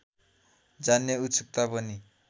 जान्ने उत्सुकता पनि